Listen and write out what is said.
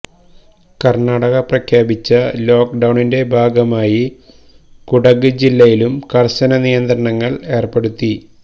കർണാടക പ്രഖ്യാപിച്ച ലോക്ഡൌണിന്റെ ഭാഗമായി കുടക് ജില്ലയിലും കർശന നിയന്ത്രണങ്ങൾ ഏർപ്പെടുത്തി